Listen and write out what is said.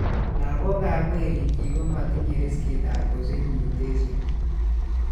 Lagok ab werikyik komatinye riskit ab kosich mutation